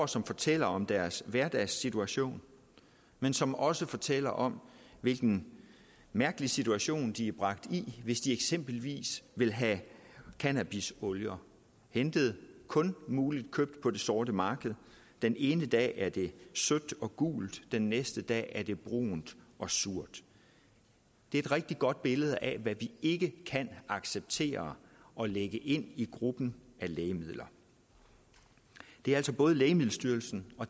som fortæller om deres hverdagssituation men som også fortæller om hvilken mærkelig situation de er bragt i hvis de eksempelvis vil have cannabisolier hentet og kun muligt at købe på det sorte marked den ene dag er det sødt og gult den næste dag er det brunt og surt det er et rigtig godt billede af hvad vi ikke kan acceptere at lægge ind i gruppen af lægemidler det er altså både lægemiddelstyrelsen og